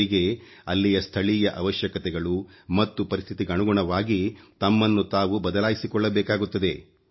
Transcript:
ಅವರಿಗೆ ಅಲ್ಲಿಯ ಸ್ಥಳೀಯ ಅವಶ್ಯಕತೆಗಳು ಮತ್ತು ಪರಿಸ್ಥಿತಿಗನುಗುಣವಾಗಿ ತಮ್ಮನ್ನು ತಾವು ಬದಲಾಯಿಸಿಕೊಳ್ಳಬೇಕಾಗುತ್ತದೆ